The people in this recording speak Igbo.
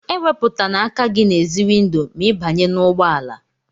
E wéputana aka gị n'èzí windo ma ị banye n'ụgbọ ala!